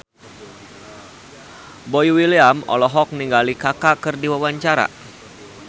Boy William olohok ningali Kaka keur diwawancara